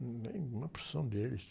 Hum, em uma porção deles.